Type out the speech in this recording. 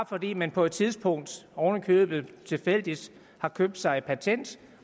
fordi man på et tidspunkt oven i købet tilfældigt har købt sig et patent